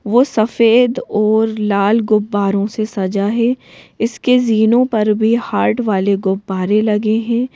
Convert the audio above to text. वो सफेद और लाल गुब्बारों से सजा हैं इसके जीनो पर भी हार्ट वाले गुब्बारे लगे हैं।